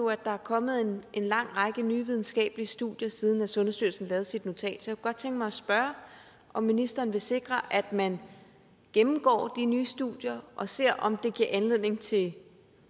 at der er kommet en lang række nye videnskabelige studier siden sundhedsstyrelsen lavede sit notat så godt tænke mig at spørge om ministeren vil sikre at man gennemgår de nye studier og ser om de giver anledning til